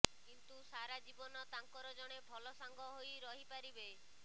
କିନ୍ତୁ ସାରା ଜୀବନ ତାଙ୍କର ଜଣେ ଭଲ ସାଙ୍ଗ ହୋଇ ରହି ପାରିବେ